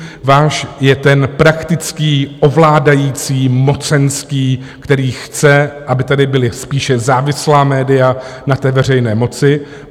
Váš je ten praktický, ovládající, mocenský, který chce, aby tady byla spíše závislá média na té veřejné moci.